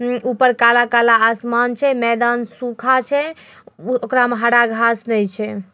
ऊपर काला-काला आसमान छै। मैदान सूखा छै। उ- ओकरा में हरा घांस ने छै।